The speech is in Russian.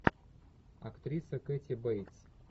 актриса кэти бейтс